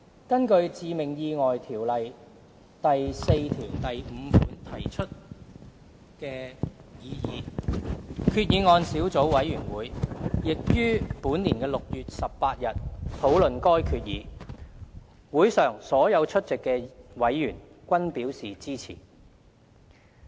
根據《條例》第45條提出的擬議決議案小組委員會亦於2018年6月18日討論該決議，會上所有出席的委員均表示支持。